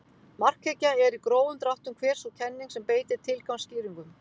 Markhyggja er í grófum dráttum hver sú kenning sem beitir tilgangsskýringum.